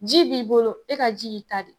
Ji b'i bolo e ka ji y'i ta de ye.